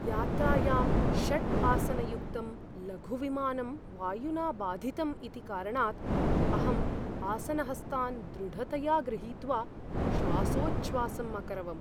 यात्रायाम् षड् आसनयुक्तं लघु विमानं वायुना बाधितम् इति कारणात् अहम् आसनहस्तान् दृढतया ग्रहीत्वा श्वासोच्छ्वासम् अकरवम्।